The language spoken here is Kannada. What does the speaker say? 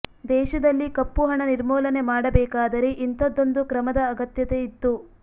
ದೇಶದಲ್ಲಿ ಕಪ್ಪು ಹಣ ನಿರ್ಮೂಲನೆ ಮಾಡಬೇಕಾದರೆ ಇಂಥದ್ದೊಂದು ಕ್ರಮದ ಅಗತ್ಯತೆ ಇತ್ತು